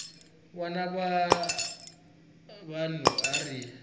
wana wa vanhu a ri